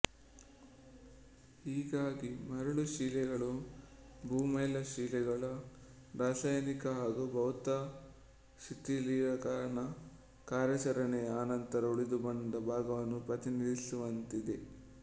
ಹೀಗಾಗಿ ಮರಳುಶಿಲೆಗಳು ಭೂಮೇಲ್ಮೈ ಶಿಲೆಗಳ ರಾಸಾಯನಿಕ ಹಾಗೂ ಭೌತ ಶಿಥಿಲೀಕರಣ ಕಾರ್ಯಾಚರಣೆಯ ಅನಂತರ ಉಳಿದುಬಂದ ಭಾಗವನ್ನು ಪ್ರತಿನಿಧಿಸುವಂತಾಗಿದೆ